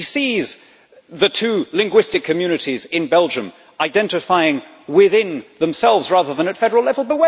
He sees the two linguistic communities in Belgium identifying within themselves, rather than at federal level.